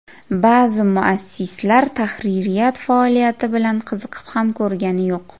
Ba’zi muassislar tahririyat faoliyati bilan qiziqib ham ko‘rgani yo‘q.